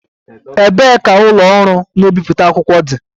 Ebee ka ụlọ ọrụ na-ebipụta akwụkwọ dị?